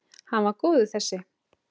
Hann var góður þessi!